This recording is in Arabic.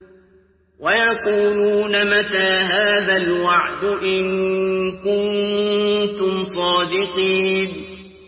وَيَقُولُونَ مَتَىٰ هَٰذَا الْوَعْدُ إِن كُنتُمْ صَادِقِينَ